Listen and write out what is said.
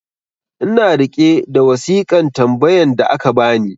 ina riƙe da wasikan tambayan da aka bani